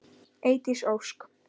Eydís Ósk.